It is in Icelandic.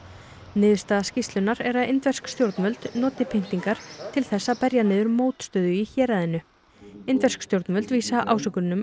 niðurstaða skýrslunnar er að indversk stjórnvöld noti pyntingar til þess að berja niður mótstöðu í héraðinu indversk stjórnvöld vísa